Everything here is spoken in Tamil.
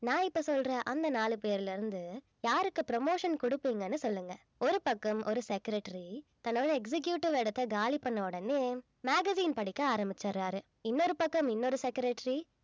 நான் இப்ப சொல்ற அந்த நாலு பேர்ல இருந்து யாருக்கு promotion கொடுப்பீங்கன்னு சொல்லுங்க ஒரு பக்கம் ஒரு secretary தன்னோட executive இடத்தை காலி பண்ண உடனே magazine படிக்க ஆரம்பிச்சுடுறாரு இன்னொரு பக்கம் இன்னொரு secretary